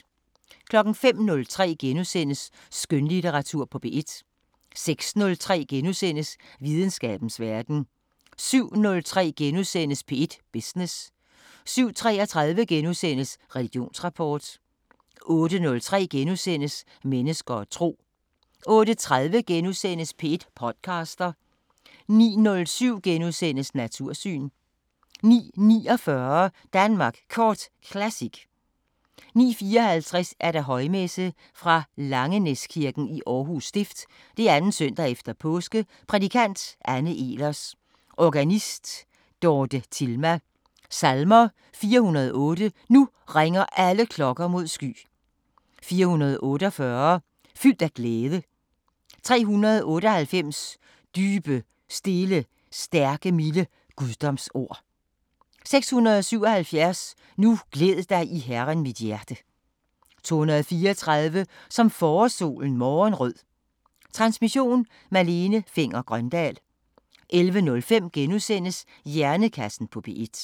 05:03: Skønlitteratur på P1 * 06:03: Videnskabens Verden * 07:03: P1 Business * 07:33: Religionsrapport * 08:03: Mennesker og tro * 08:30: P1 podcaster * 09:07: Natursyn * 09:49: Danmark Kort Classic 09:54: Højmesse - Fra Langenæskirken, Aarhus Stift. 2. søndag efter Påske. Prædikant: Anne Ehlers. Organist: Dorte Tilma. Salmer: 408: Nu ringer alle klokker mod sky. 448: Fyldt af glæde. 398: Dybe, stille, stærke milde guddomsord. 677: Nu glæd dig i Herren, mit hjerte. 234: Som forårssolen morgenrød. Transmission: Malene Fenger-Grøndahl. 11:05: Hjernekassen på P1 *